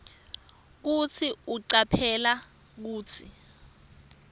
kutsi ucaphele kutsi